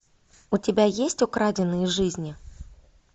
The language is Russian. у тебя есть украденные жизни